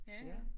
Ja ja